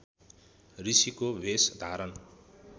ऋषिको भेष धारण